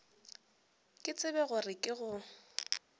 ke tsebe gore ke go